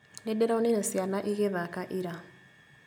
Nĩndĩronire ciana igĩthaka ira